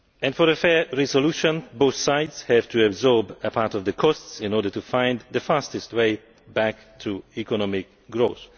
For a fair resolution, both sides have to absorb a part of the costs in order to find the fastest way back to economic growth.